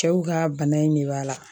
Cɛw ka bana in ne b'a la